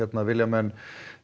vilja menn